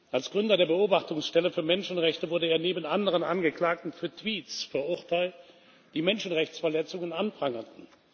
Als Gründer der Beobachtungsstelle für Menschenrechte wurde er neben anderen Angeklagten für Tweets verurteilt, die Menschenrechtsverletzungen anprangerten.